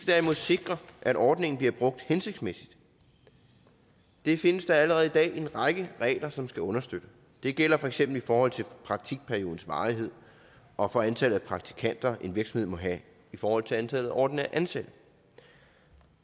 derimod sikre at ordningen bliver brugt hensigtmæssigt det findes der allerede i dag en række regler som skal understøtte det gælder for eksempel i forhold til praktikperiodens varighed og for antallet af praktikanter en virksomhed må have i forhold til antallet af ordinært ansatte